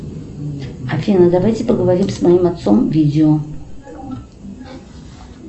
афина давайте поговорим с моим отцом видео